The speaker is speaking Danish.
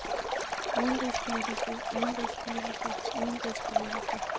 udenrigspolitiske udenrigspolitiske udenrigspolitiske